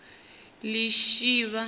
lishivha